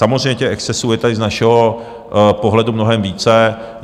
Samozřejmě těch excesů je tady z našeho pohledu mnohem více.